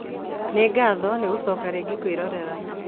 Nĩ ngatho nĩ ngũcoka rĩngĩ kwĩrorera